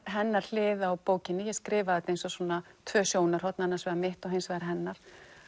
hennar hlið á bókinni ég skrifa þetta eins og svona tvö sjónarhorn annars vegar mitt og hins vegar hennar